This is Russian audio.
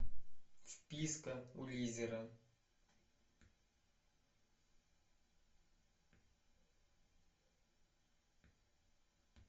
вписка у лизера